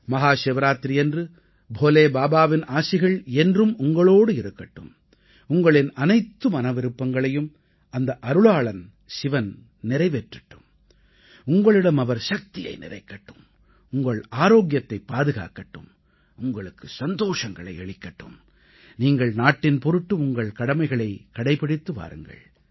மஹா சிவராத்திரியன்று போலே பாபாவின் ஆசிகள் என்றும் உங்களோடு இருக்கட்டும் உங்களின் அனைத்து மன விருப்பங்களையும் அந்த அருளாளன் சிவன் நிறைவேற்றட்டும் உங்களிடம் அவர் சக்தியை நிறைக்கட்டும் உங்கள் ஆரோக்கியத்தைப் பாதுகாக்கட்டும் உங்களுக்கு சந்தோஷங்களை அளிக்கட்டும் நீங்கள் நாட்டின் பொருட்டு உங்கள் கடமைகளைக் கடைபிடித்து வாருங்கள்